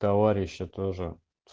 товарищи тоже